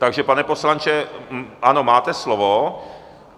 Takže pane poslanče, ano, máte slovo.